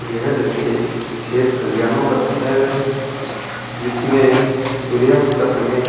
यह दृश्य खेत खलिहानों का दिखाया गया है जिसमें सूर्यास्त का समय --